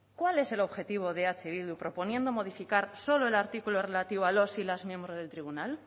cuál es el objetivo de eh bildu proponiendo modificar solo el artículo relativo a los y las miembros del tribunal